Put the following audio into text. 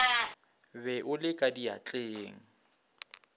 be o le ka diatleng